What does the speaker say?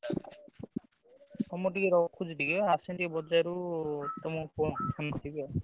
ଆଉ ମୁଁ ଟିକେ ରଖୁଛି ଟିକେ ଆସନ୍ତି ଏଇ ବଜାରରୁ ତମୁକୁ phone କରିବି ଆଉ।